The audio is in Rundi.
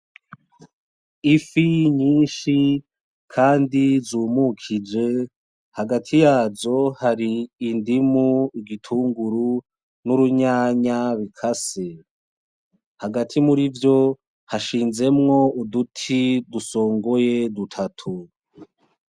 Ifi nyinshi kandi zumukije. Hagati yazo hari indimu ku gitunguru n'urunyanya bikase. Hagati murivyo hashinzemwo uduti dusongoye dutatu.